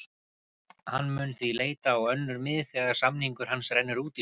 Hann mun því leita á önnur mið þegar samningur hans rennur út í sumar.